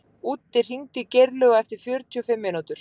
Úddi, hringdu í Geirlaug eftir fjörutíu og fimm mínútur.